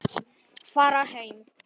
Fara heim?